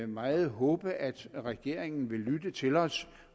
meget håbe at regeringen vil lytte til os